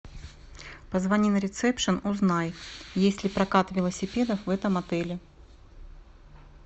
позвони на ресепшн узнай есть ли прокат велосипедов в этом отеле